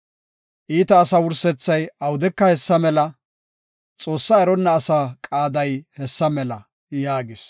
Iita asaa wursethay awudeka hessa mela; Xoossaa eronna asaa qaaday hessa mela” yaagis.